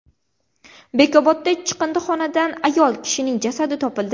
Bekobodda chiqindixonadan ayol kishining jasadi topildi.